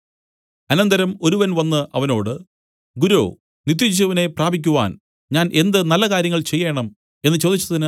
അനന്തരം ഒരുവൻ വന്നു അവനോട് ഗുരോ നിത്യജീവനെ പ്രാപിക്കുവാൻ ഞാൻ എന്ത് നല്ല കാര്യങ്ങൾ ചെയ്യേണം എന്നു ചോദിച്ചതിന്